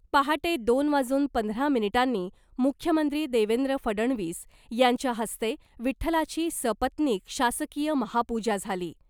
पहाटे दोन वाजून पंधरा मिनिटांनी मुख्यमंत्री देवेंद्र फडणवीस यांच्या हस्ते विठ्ठलाची सपत्निक शासकीय महापूजा झाली .